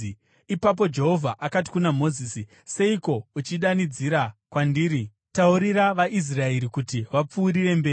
Ipapo Jehovha akati kuna Mozisi, “Seiko uchidanidzira kwandiri? Taurira vaIsraeri kuti vapfuurire mberi.